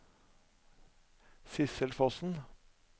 Sidsel Fossen